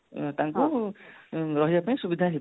ତାଙ୍କୁ ରହିବା ପାଇଁ ସୁବିଧା ହେଇପାରିବ